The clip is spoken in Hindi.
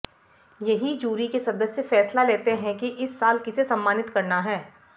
यही जूरी के सदस्य फैसला लेते हैं की इस साल किसे सम्मानित करना है